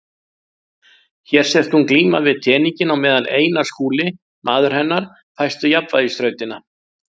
Hér sést hún glíma við teninginn á meðan Einar Skúli, maður hennar, fæst við jafnvægisþrautina.